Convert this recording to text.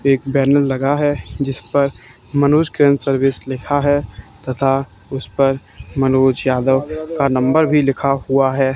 एक बैनर लगा है जिसपर मनोज क्रेन सर्विस लिखा है तथा उसपर मनोज यादव का नंबर भी लिखा है।